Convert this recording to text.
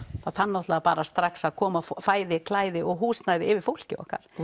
það þarf náttúrulega bara strax að koma fæði klæði og húsnæði yfir fólkið okkar það